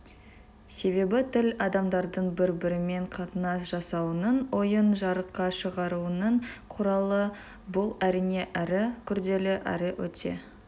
себебі тіл адамдардың бір-бірімен қатынас жасауының ойын жарыққа шығаруының құралы бұл әрине әрі күрделі әрі өте